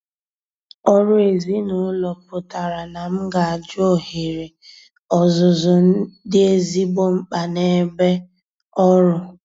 Ọrụ ezinụlọ pụtara na m ga-ajụ ohere ọzụzụ dị ezigbo mkpa n'ebe ọrụ.